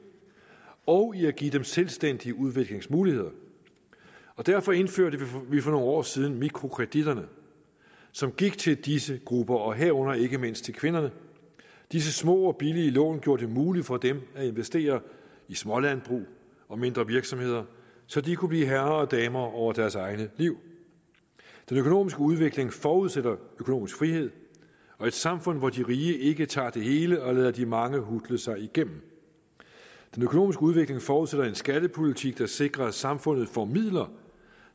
og i at give dem selvstændige udviklingsmuligheder derfor indførte vi for nogle år siden mikrokreditterne som gik til disse grupper og herunder ikke mindst til kvinderne disse små og billige lån gjorde det muligt for dem at investere i smålandbrug og mindre virksomheder så de kunne blive herre og dame over deres eget liv den økonomiske udvikling forudsætter økonomisk frihed og et samfund hvor de rige ikke tager det hele og lader de mange hutle sig igennem den økonomiske udvikling forudsætter en skattepolitik der sikrer at samfundet får midler